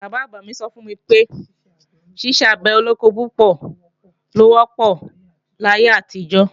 Bàbá-àgbà mí sọ fún mi pé, ṣiṣẹ́ àgbẹ̀ olóko púpọ̀ ló wọ́pọ̀ láyé àtijọ́